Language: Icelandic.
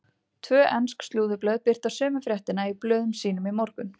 Tvö ensk slúðurblöð birta sömu fréttina í blöðum sínum í morgun.